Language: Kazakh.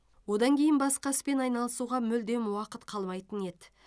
одан кейін басқа іспен айналысуға мүлдем уақыт қалмайтын еді